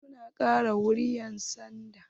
Wasu na kai ƙara wurin 'yansanda.